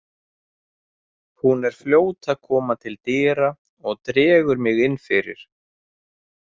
Hún er fljót að koma til dyra og dregur mig inn fyrir.